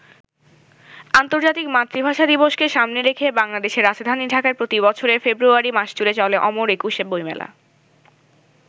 আন্তর্জাতিক মাতৃভাষা দিবসকে সামনে রেখে বাংলাদেশের রাজধানী ঢাকায় প্রতি বছরের ফেব্রুয়ারি মাসজুড়ে চলে অমর একুশে বইমেলা।